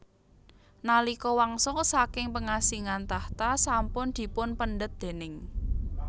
Nalika wangsul saking pengasingan tahta sampun dipunpendhet déning